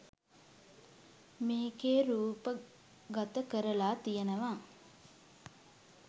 මේකේ රූපගත කරලා තියනවා.